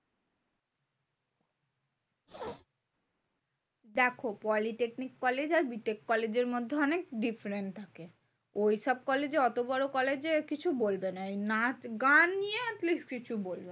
দেখো polytechnic college আর B tech কলেজের মধ্যে অনেক different থাকে। ঐসব কলেজে অত বড় college এ কিছু বলবে না। এই নিয়ে নাচ গান নিয়ে at least কিছু বলবে না।